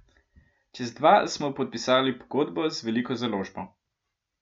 Čez dva smo podpisali pogodbo z veliko založbo.